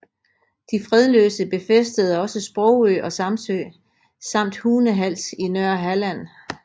De fredløse befæstede også Sprogø og Samsø samt Hunehals i Nørrehalland